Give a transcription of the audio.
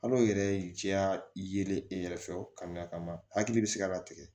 Hal'o yɛrɛ ye jɛya yelen e yɛrɛ fɛ ka na ka na hakili bɛ se ka tigɛ